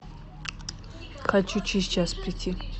хочу через час прийти